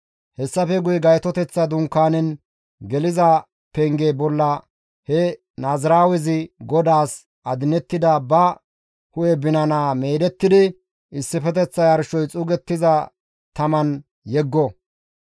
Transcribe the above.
« ‹Hessafe guye Gaytoteththa Dunkaanezan geliza penge bolla he naaziraawezi GODAAS adinettida ba hu7e binana meedettidi issifeteththa yarshoy xuugettiza taman yeggo.